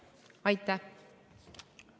Aitäh!